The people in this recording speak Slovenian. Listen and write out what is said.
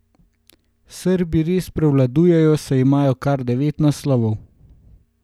Srbi res prevladujejo, saj imajo kar devet naslovov.